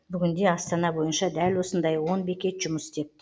бүгінде астана бойынша дәл осындай он бекет жұмыс істеп тұр